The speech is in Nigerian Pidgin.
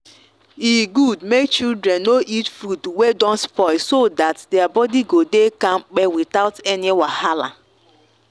e good make children no eat food wey don spoil so that their body go dey kampe without any wahala.